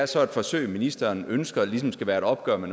så er et forsøg ministeren ønsker ligesom skal være et opgør med